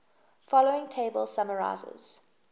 following table summarizes